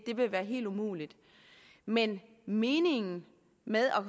vil være helt umuligt men meningen med